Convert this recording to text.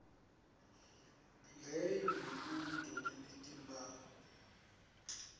leyo mibuto lenetimphawu